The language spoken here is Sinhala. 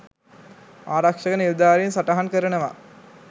ආරක්ෂක නිලධාරීන් සටහන් කරනවා..